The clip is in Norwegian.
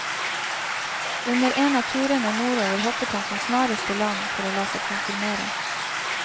Under en av turene nordover hoppet han som snarest i land, for å la seg konfirmere.